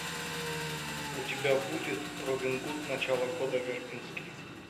у тебя будет робин гуд начало года вербинске